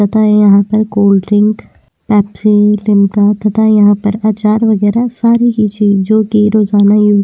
तथा यहाँ पर कोल्ड्रिंक पेप्सी लिम्का तथा यहाँ पर अचार वगेरा सारी ही चीजे जो की रोजना यूज़ --